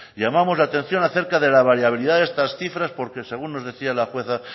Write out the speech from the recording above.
llamamos la atención acerca de la variabilidad de estas cifras porque según nos decía la jueza